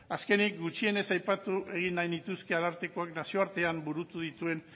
azkenik gutxienez aipatu egin nahi nituzke arartekoak nazio artean burutu dituen